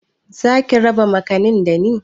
Zaki raba makanin dani?